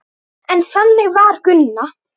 En þannig var Gunna.